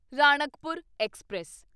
Ranakpur express